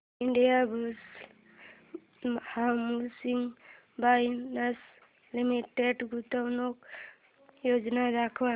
Indiabulls housing finance limited गुंतवणूक योजना दाखव